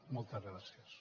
moltes gràcies